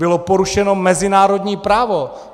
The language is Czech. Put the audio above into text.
Bylo porušeno mezinárodní právo.